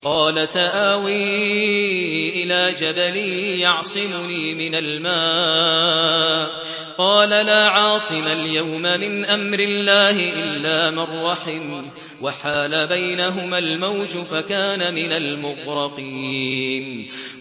قَالَ سَآوِي إِلَىٰ جَبَلٍ يَعْصِمُنِي مِنَ الْمَاءِ ۚ قَالَ لَا عَاصِمَ الْيَوْمَ مِنْ أَمْرِ اللَّهِ إِلَّا مَن رَّحِمَ ۚ وَحَالَ بَيْنَهُمَا الْمَوْجُ فَكَانَ مِنَ الْمُغْرَقِينَ